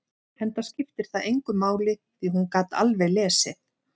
Enda skipti það engu máli, því að hún gat alveg lesið.